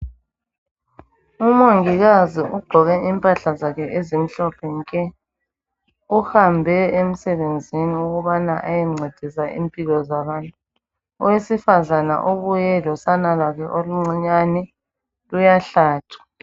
Umongikazi ugqoke impahla ezimhlophe nke, uhambe emsebenzini ukubana ayencedisa impilo zabantu, owesifazana ubuye losana lwakhe oluncinyane luyahlatshwa.